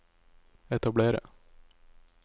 etablere